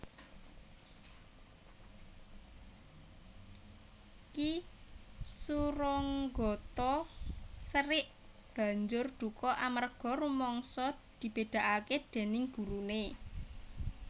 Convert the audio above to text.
Ki Suronggotho serik banjur duka amarga rumangsa dibèdakaké déning guruné